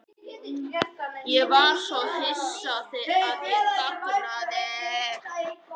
Ég var svo hissa að ég þagnaði.